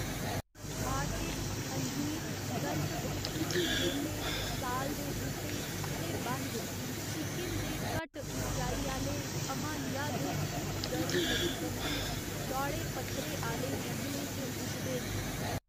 Orchid, अंजीर, कल्पवृक्ष, केले, साल दे बूह्टे ते बंझ सिक्किम दे घट्ट उच्चाई आह्‌ले हमालिया दे उपगर्मकटिबंधी चौड़े पत्तरे आह्‌ले जंगलें च उगदे न।